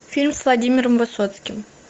фильм с владимиром высоцким